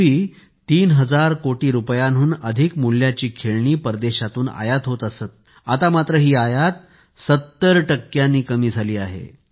पूर्वी 3 हजार कोटी रुपयांहून अधिक मूल्याची खेळणी परदेशातून आयात होत असत आता मात्र ही आयात 70नी कमी झाली आहे